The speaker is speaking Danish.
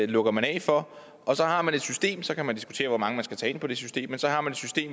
lukker man af for og så har man et system og så kan man diskutere hvor mange man skal tage ind på det system